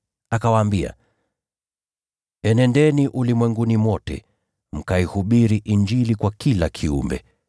Akawaambia, “Enendeni ulimwenguni kote, mkaihubiri Injili kwa kila kiumbe.